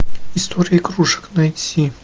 история игрушек найти